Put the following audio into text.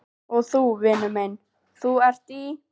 Og þú, vinur minn, ÞÚ ERT Í